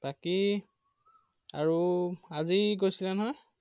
বাকি আৰু আজি গৈছিলা নহয়?